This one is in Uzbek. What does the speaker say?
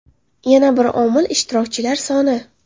Yana bir omil ishtirokchilar soni.